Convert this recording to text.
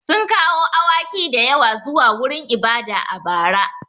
Sun kawo awaki da yawa zuwa wurin ibada a bara.